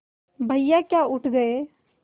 भैया क्या उठ गये